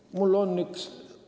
Mul on üks ...